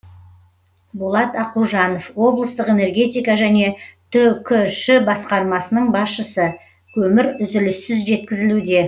болат ақужанов облыстық энергетика және түкш басқармасының басшысы көмір үзіліссіз жеткізілуде